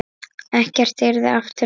Ekkert yrði aftur samt.